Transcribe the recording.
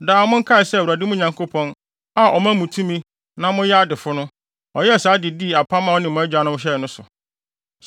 Daa monkae sɛ Awurade, mo Nyankopɔn, a ɔma mo tumi ma moyɛ adefo no, ɔyɛ saa de di apam a ɔne mo agyanom hyɛe no so.